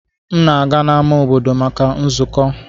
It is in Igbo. M na-aga n'ámá obodo maka nzukọ.